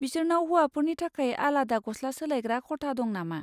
बिसोरनाव हौवाफोरनि थाखाय आलादा गस्ला सोलायग्रा खथा दं नामा?